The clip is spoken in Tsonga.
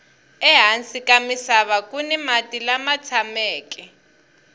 ehansi ka misava kuni mati lama tshameke